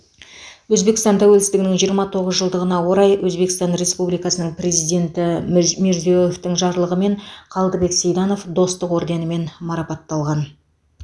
өзбекстан тәуелсіздігінің жиырма тоғыз жылдығына орай өзбекстан республикасының президенті мүж мирзиеевтің жарлығымен қалдыбек сейданов достық орденімен марапатталған